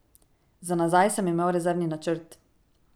Za nazaj sem imel rezervni načrt.